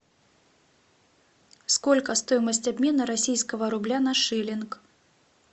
сколько стоимость обмена российского рубля на шиллинг